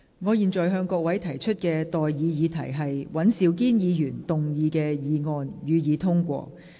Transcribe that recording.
我現在向各位提出的待議議題是：尹兆堅議員動議的議案，予以通過。